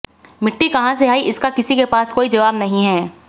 मिट्टी कहां से आई इसका किसी के पास कोई जवाब नहीं है